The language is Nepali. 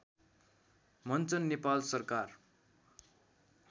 मञ्चन नेपाल सरकार